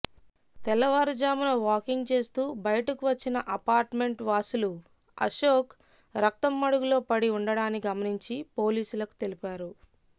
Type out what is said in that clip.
తెల్లవారు జామున వాకింగ్ చేస్తూ బయటకు వచ్చిన అపార్టుమెంట్వాసులు అశోక్ రక్తం మడుగులో పడి ఉండడాన్ని గమనించి పోలీసులకు తెలిపారు